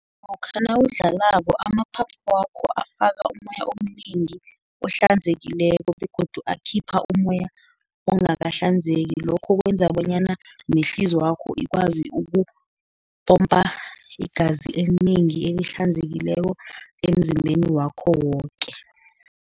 Lokha nawudlalako amaphaphu wakho afaka umoya omnengi, ohlanzekileko, begodu akhipha umoya ongakahlanzeki, lokho kwenza bonyana nehliziyo yakho ikwazi ukupompa igazi elinengi elihlanzekileko emzimbeni wakho woke.